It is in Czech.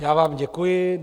Já vám děkuji.